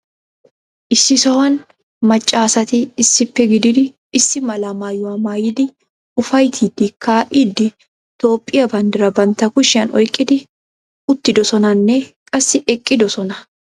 Issi sohuwan macca asati issippe gididi issi mala maayuwa maayidi ufayttiidi kaa'iidi Toophphiya banddiraa bantta kushiyan oyqidi uttidosonanne qassi eqqiddossona.